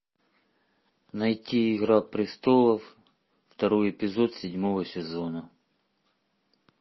найти игра престолов второй эпизод седьмого сезона